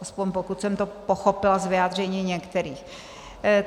Alespoň pokud jsem to pochopila z vyjádření některých.